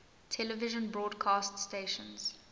television broadcast stations